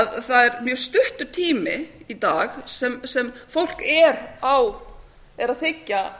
að það er mjög stuttur tími í dag sem fólk er að þiggja